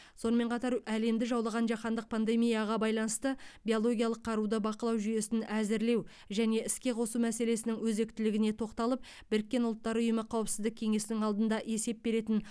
сонымен қатар әлемді жаулаған жаһандық пандемияға байланысты биологиялық қаруды бақылау жүйесін әзірлеу және іске қосу мәселесінің өзектілігіне тоқталып біріккен ұлттар ұйымы қауіпсіздік кеңесінің алдында есеп беретін